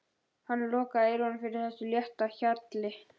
Hann lokaði eyrunum fyrir þessu létta hjali.